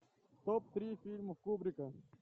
топ три фильма кубрика